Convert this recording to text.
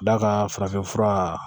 Da ka farafin fura